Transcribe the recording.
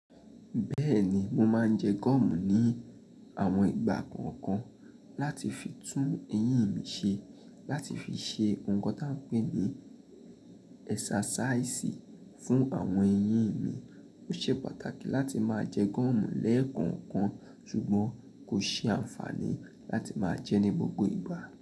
Bẹ́ẹ̀ni, mo máa ń jẹ gọ́ọ̀mù ní àwọn ìgbà kọ̀ọ̀kan láti fi tún eyín mi ṣe, láti fi ṣe ohun kan tí a ń pè ní ẹsàsáìsì fún àwọn eyín mi. Ó ṣe pàtàkì láti máa jẹ gọ́ọ̀mù lẹ́ẹ̀kọ̀ọ̀kan, ṣùgbọ́n kò ṣe àǹfààní láti máa jẹ ní gbogbo ìgbà.